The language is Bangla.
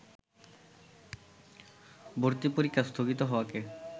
ভর্তি পরীক্ষা স্থগিত হওয়াকে